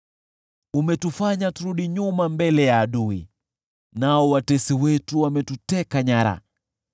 Umetufanya turudi nyuma mbele ya adui, nao watesi wetu wametuteka nyara.